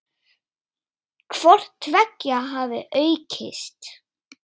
Hvort tveggja hafi aukist.